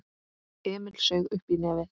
Emil saug uppí nefið.